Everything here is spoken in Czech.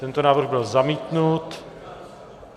Tento návrh byl zamítnut.